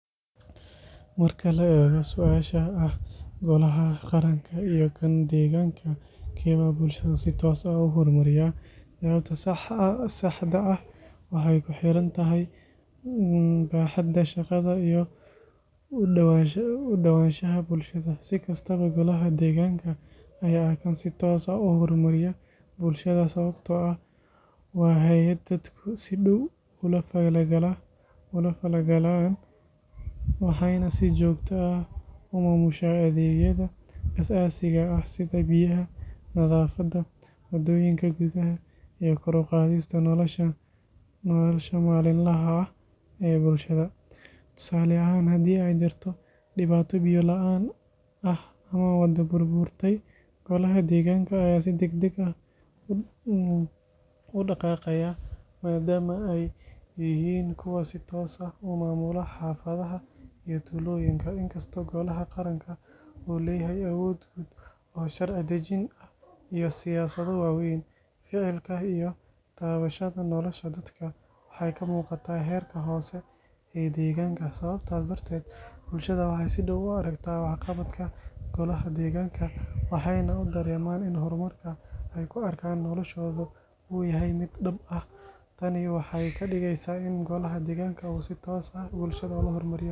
Marka la eego su’aasha ah golaha qaranka iyo kan deegaanka, keebaa bulshada si toos ah u horumariya, jawaabta saxda ah waxay ku xirantahay baaxadda shaqada iyo u dhowaanshaha bulshada. Si kastaba, golaha deegaanka ayaa ah kan si toos ah u horumariya bulshada sababtoo ah waa hay’ad dadku si dhow ula falgalaan, waxayna si joogto ah u maamushaa adeegyada aasaasiga ah sida biyaha, nadaafadda, wadooyinka gudaha, iyo kor u qaadista nolosha maalinlaha ah ee bulshada. Tusaale ahaan, haddii ay jirto dhibaato biyo la’aan ah ama wado burburtay, golaha deegaanka ayaa si degdeg ah u dhaqaaqaya, maadaama ay yihiin kuwa si toos ah u maamula xaafadaha iyo tuulooyinka. Inkastoo golaha qaranka uu leeyahay awood guud oo sharci dejin ah iyo siyaasado waaweyn, ficilka iyo taabashada nolosha dadka waxay ka muuqataa heerka hoose ee deegaanka. Sababtaas darteed, bulshada waxay si dhow u aragtaa waxqabadka golaha deegaanka, waxayna u dareemaan in horumarka ay ku arkaan noloshooda uu yahay mid dhab ah. Tanina waxay ka dhigeysaa in golaha deegaanka uu si toos ah.